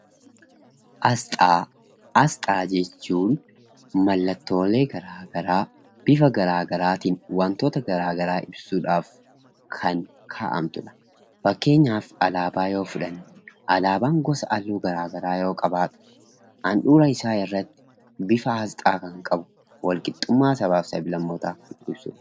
Asxaa. Asxaa jechuun maallatollee gara garaa, bifa gara garaa, wantoota gara garaa ittin ibsuudhaaf kan ka'amtudha. Faakkeenyaaf alaabaa yoo fudhannee alaabaa gosa halluu gara garaa yoo qabatu handhuraa isaa irratti bifa asxaa kan qabu walqixummaa sabafi sablamoota kan ibsuudha.